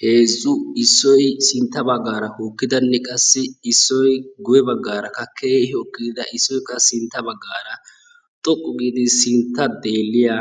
Heezzu Issoyi sintta baggaara hokkidanne Issoyi qassi guyye baggaarakka keehi hokkida Issoyi qassi sintta baggaara xoqqu giidi sintta deelliya